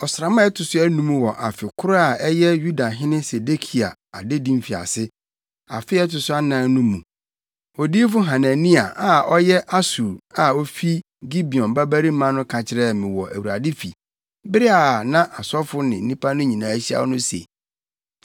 Ɔsram a ɛto so anum wɔ afe koro a ɛyɛ Yudahene Sedekia adedi mfiase, afe a ɛto so anan no mu, odiyifo Hanania a ɔyɛ Asur a ofi Gibeon babarima no ka kyerɛɛ me wɔ Awurade fi bere a na asɔfo ne nnipa no nyinaa ahyia no se,